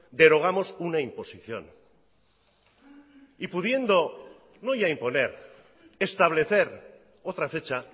derogamos una imposición y pudiendo no ya imponer establecer otra fecha